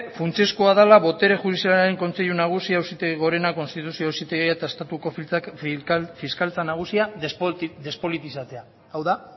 funtsezkoa dela botere judizialaren kontseilu nagusia auzitegi gorena konstituzio auzitegia eta estatuko fiskaltza nagusia despolitizatzea hau da